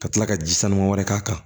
Ka tila ka ji sanu wɛrɛ k'a kan